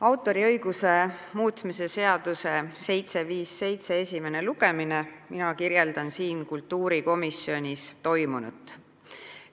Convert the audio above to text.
Autoriõiguse seaduse muutmise seaduse eelnõu 757 esimene lugemine, mina kirjeldan kultuurikomisjonis toimunut.